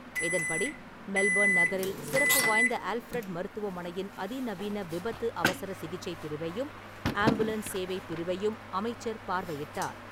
இதன்படி , மெல்பர்ன் நகரில் சிறப்பு வாய்ந்த ஆல்ஃபிரட் மருத்துவமனையின் அதிநவீன விபத்து , அவசர சிகிச்சை பிரிவையும் , ஆம்புலன்ஸ் சேவை பிரிவையும் அமைச்சர் பார்வையிட்டார் .